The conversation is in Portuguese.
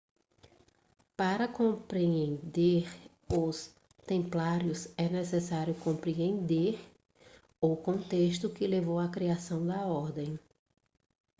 para compreender os templários é necessário compreender o contexto que levou à criação da ordem